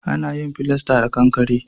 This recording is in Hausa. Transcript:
A na yin filasta da kankare